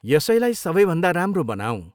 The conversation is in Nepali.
यसैलाई सबैभन्दा राम्रो बनाऔँ।